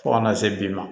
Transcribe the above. Fo kana se bi ma